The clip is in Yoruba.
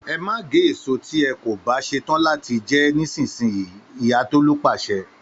“E ma ge eso ti e ko ba setan lati je e nisinyi” Iya Tolu pase.